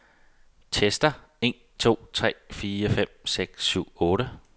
Tester en to tre fire fem seks syv otte.